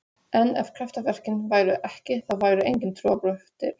En ef kraftaverkin væru ekki, þá væru engin trúarbrögð til.